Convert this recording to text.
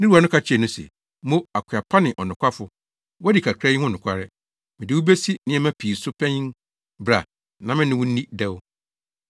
“Ne wura no ka kyerɛɛ no se, ‘Mo, akoa pa ne ɔnokwafo, woadi kakra yi ho nokware, mede wo besi nneɛma pii so panyin. Bra, na me ne wo nni dɛw!’